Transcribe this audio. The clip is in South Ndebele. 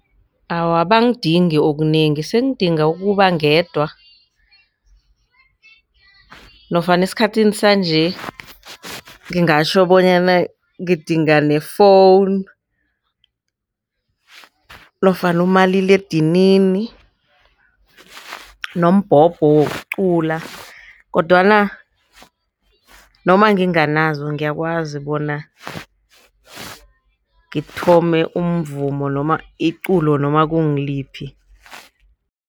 Awa, abangidingi okunengi sengidinga ukuba ngedwa nofana esikhathini sanje ngingatjho bonyana ngidinga ne-phone nofana umaliledinini nombhobho wokucula kodwana noma nginganazo ngiyakwazi bona ngithome umvumo noma iculo noma kungiliphi.